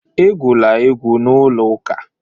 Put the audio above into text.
Egwula egwu n'ụlọ ụka!